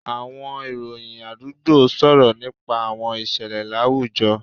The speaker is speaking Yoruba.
Àwọn ìròyìn àdúgbò sọ̀rọ̀ nípa àwọn ìṣẹ̀lẹ̀ láwùjọ